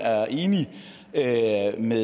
andet